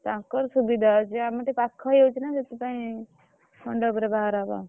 ତାକର ସୁବିଧା ଅଛି ଆମର ଟିକେ ପାଖ ହେଇଯାଉଛି ନା ସେଥିପାଇଁ ମଣ୍ଡପ୍ ରେ ବାହାଘର ହବ ଆଉ।